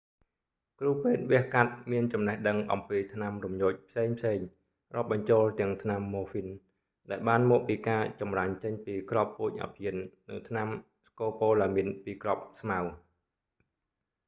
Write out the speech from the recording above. គ្រូពេទ្យវះកាត់មានចំណេះដឹងអំពីថ្នាំរំញោចផ្សេងៗរាប់បញ្ចូលទាំងថ្នាំ morphine ដែលបានមកពីការចម្រាញ់ចេញពីគ្រាប់ពូជអាភៀន និងថ្នាំ scopolamine ពីគ្រាប់ស្មៅ